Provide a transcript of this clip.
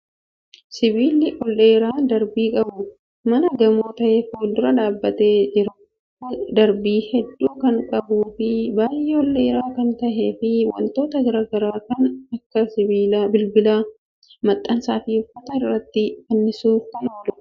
Sibiilli ol dheeraa darbii qabu mana gamoo ta'e fuuldura dhaabbatee jiru kun, darbii hedduu kan qabuu fi baay'ee ol dheeraa kan ta'eefi wantoota garaa garaa kan akka bilbilaa, maxxansa fi uffata irratti fannisuuf kan oolu dha.